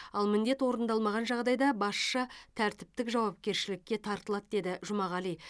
ал міндет орындалмаған жағдайда басшы тәртіптік жауапкершілікке тартылады деді жұмағали